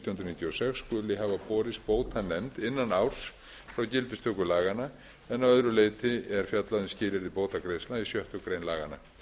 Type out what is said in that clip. nítján hundruð níutíu og sex skuli hafa borist bótanefnd innan árs frá gildistöku laganna en að öðru leyti er fjallað um skilyrði bótagreiðslna í sjöttu grein laganna